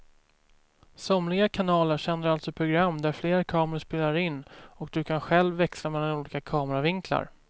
Somliga kanaler sänder alltså program där flera kameror spelar in och du kan själv växla mellan olika kameravinklar.